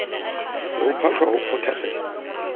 se ho phahlwa ho phothasela